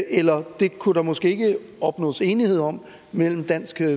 eller det kunne der måske ikke opnås enighed om mellem dansk